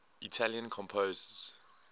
italian composers